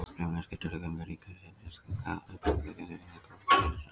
Sömuleiðis geta gömul ríki nýtt sér slíkar upplýsingar þegar þau endurskoða sínar stjórnarskrár.